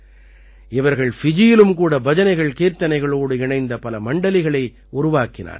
இவர்கள் ஃபிஜியிலும் கூட பஜனைகள்கீர்த்தனைகளோடு இணைந்த பல மண்டலிகளை உருவாக்கினார்கள்